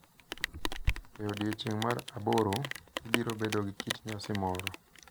E odiechieng’ mar aboro, ibiro bedo gi kit nyasi moro, .